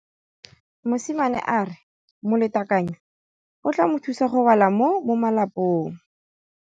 Mosimane a re molatekanyô o tla mo thusa go bala mo molapalong.